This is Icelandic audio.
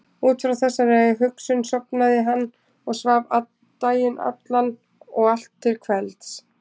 Út frá þessari hugsun sofnaði hann og svaf daginn allan og allt til kvelds.